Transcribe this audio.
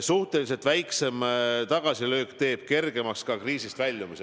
Suhteliselt väiksem tagasilöök teeb kergemaks ka kriisist väljumise.